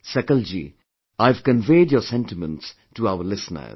Sakal ji, I have conveyed your sentiments to our listeners